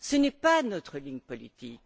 Ce n'est pas notre ligne politique.